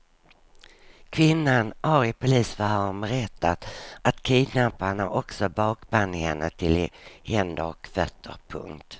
Kvinnan har i polisförhören berättat att kidnapparna också bakband henne till händer och fötter. punkt